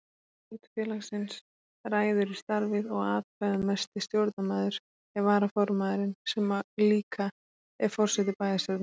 Stjórn félagsins ræður í starfið og atkvæðamesti stjórnarmaður er varaformaðurinn sem líka er forseti bæjarstjórnar.